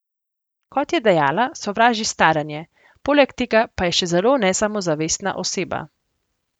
Kot je dejala, sovraži staranje, poleg tega pa je še zelo nesamozavestna oseba.